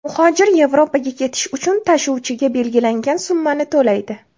Muhojir Yevropaga ketish uchun tashuvchiga belgilangan summani to‘laydi.